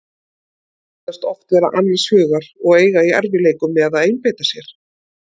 Þau virðast oft vera annars hugar og eiga í erfiðleikum með að einbeita sér.